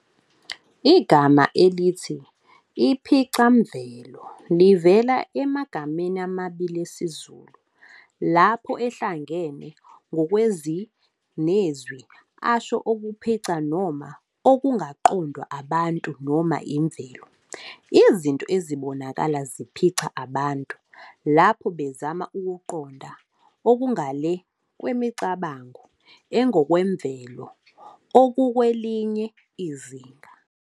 Igama elithi "iPhicamvelo" livela emagameni amabili esiZulu, lapho ehlangene, ngokwezwi nezwi asho "okuphica noma okungaqondwa abantu noma imvelo, Izinto ezibonakala ziphica abantu lapho bezama ukuziqonda, okungale kwemicabango engokwemvelo, okukwelinye izinga".